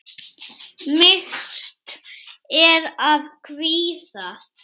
Myrkt er af kvíða.